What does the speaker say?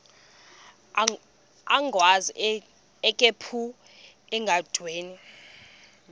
agwaz ikhephu endaweni